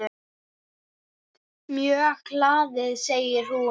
Mjög hlaðið segir hún.